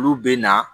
Olu bɛ na